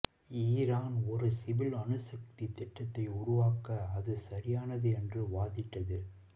Iran ஒரு civil அணுசக்தி திட்டத்தை உருவாக்க அது சரியானது என்று வாதிட்டது